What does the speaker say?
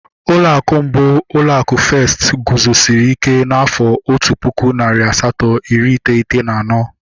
Ụlọ akụ mbụ, ụlọ akụ Festi guzosiri ike n'afọ otu pụkụ, narị asatọ iri iteghete na anọ